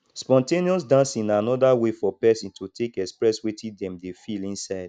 spon ten ous dancing na anoda way for person to take express wetin dem dey feel inside